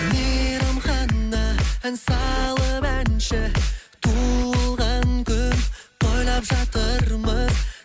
мейрамхана ән салып әнші туылған күн тойлап жатырмыз